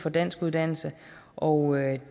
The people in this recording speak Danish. for danskuddannelse og